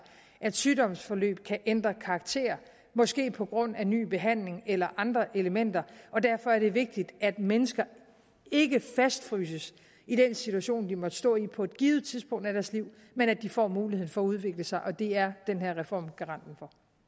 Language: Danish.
at sygdomsforløb kan ændre karakter måske på grund af ny behandling eller andre elementer og derfor er det vigtigt at mennesker ikke fastfryses i den situation de måtte stå i på et givet tidspunkt af deres liv men at de får muligheden for at udvikle sig og det er den her reform garanten